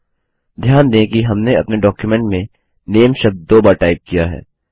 ध्यान दें कि हमने अपने डॉक्युमेंट में नामे शब्द दो बार टाइप किया है